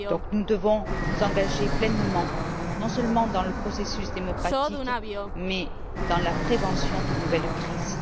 Nous devons donc nous engager pleinement, non seulement dans le processus démocratique, mais aussi dans la prévention d'une nouvelle crise.